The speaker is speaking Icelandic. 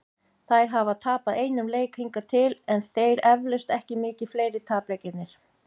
Þær hafa tapað einum leik hingað til, en þeir eflaust ekki mikið fleiri- tapleikirnir.